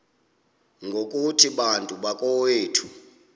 ngokuthi bantu bakowethu